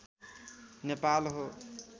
नेपाल हो